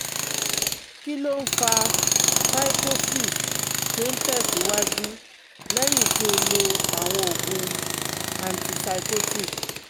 Kí ló ń fa psychosis tí ó ń tẹ̀síwájú lẹ́yìn tí ó lo àwọn oògùn antipsychotic